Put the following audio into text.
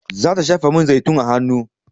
Za ta shafa man zaitun a hanu